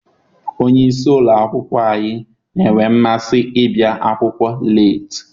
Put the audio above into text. Onye isi ụlọ akwụkwọ anyị na-enwe mmasị ịbịa akwụkwọ leeti.